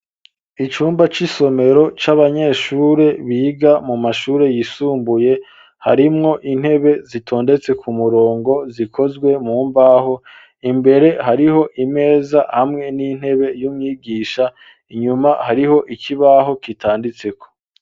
Icumba c'isomero c'abanyeshuri biga mu mashuri yisumbuye harimwo intebe zitondetse ku murongo zikozwe mu mbaho imbere hariho imeza hamwe n'intebe y'umwigisha inyuma hariho ikibaho kitanditseko.